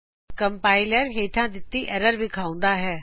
compiler ਹੇਠਾ ਦਿਤੀ error ਵਿਖਾਉਂਦਾ ਹੈ